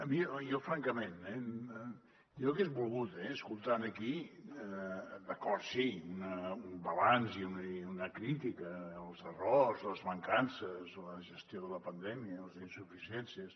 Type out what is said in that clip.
jo francament eh hagués volgut escoltar aquí d’acord sí un balanç una crítica els errors les mancances la gestió de la pandèmia les insuficiències